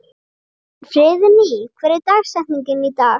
Friðný, hver er dagsetningin í dag?